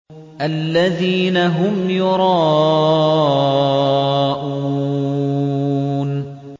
الَّذِينَ هُمْ يُرَاءُونَ